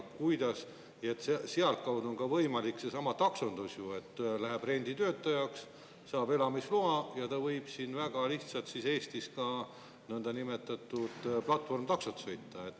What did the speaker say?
Nii et sealtkaudu on võimalik ju ka seesama taksondus: läheb renditöötajaks, saab elamisloa ja võib siin Eestis väga lihtsalt ka nõndanimetatud platvormitaksot sõita.